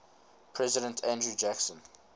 president andrew jackson